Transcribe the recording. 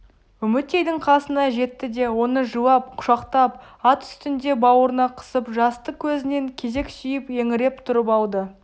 үмітейдің қасына жетті де оны жылап құшақтап ат үстінде бауырына қысып жасты көзінен кезек сүйіп еңіреп тұрып алды